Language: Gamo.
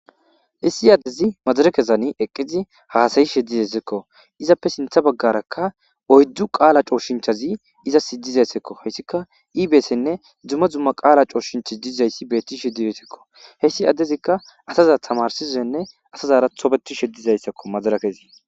Issi addezi maddirikezan eqqidi hasa'ishe desseko izzappe sinththe baggaraka oyddu qaala coshshinthaazi izzas dizzayssako hayssika iibettene dumma dumma qaala coshshinthi diizayssa bettishe desseko hayssi addezika assaza tamarsishene asazara tobbetishe dizayssako maderekezi.